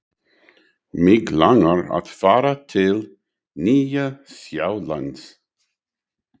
Mig langar að fara til Nýja-Sjálands.